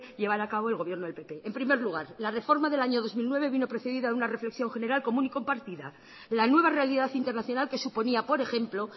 llevar a cabo el gobierno del pp en primer lugar la reforma del dos mil nueve vino precedida de una reflexión general común y compartida la nueva realidad internacional que suponía por ejemplo